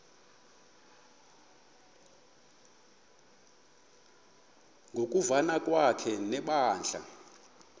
ngokuvana kwakhe nebandla